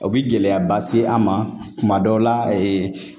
O bi gɛlɛyaba se an ma kuma dɔw la